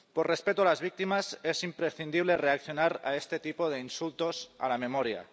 Por respeto a las víctimas es imprescindible reaccionar a este tipo de insultos a la memoria.